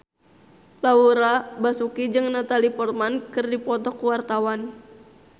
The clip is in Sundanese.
Laura Basuki jeung Natalie Portman keur dipoto ku wartawan